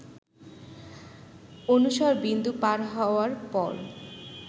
অনুসর বিন্দু পার হওয়ার পর